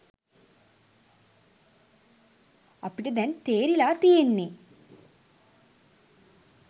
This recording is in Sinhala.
අපිට දැන් තේරිලා තියෙන්නේ